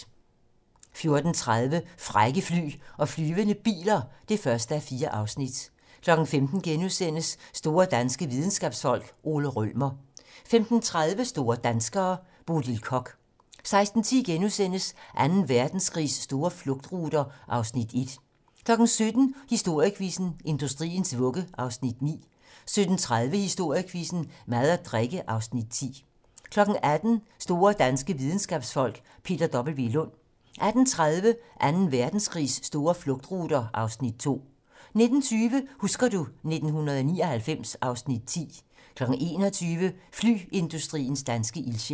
14:30: Frække fly og flyvende biler (1:4) 15:00: Store danske videnskabsfolk: Ole Rømer * 15:30: Store danskere - Bodil Koch 16:10: Anden Verdenskrigs store flugtruter (Afs. 1)* 17:00: Historiequizzen: Industriens vugge (Afs. 9) 17:30: Historiequizzen: Mad og drikke (Afs. 10) 18:00: Store danske videnskabsfolk: Peter W. Lund 18:30: Anden Verdenskrigs store flugtruter (Afs. 2) 19:20: Husker du ... 1999 (Afs. 10) 21:00: Flyindustriens danske ildsjæle